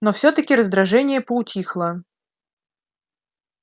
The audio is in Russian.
но всё-таки раздражение поутихло